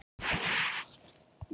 Ég fer ekki ofan af því.